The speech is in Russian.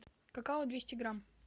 какао двести грамм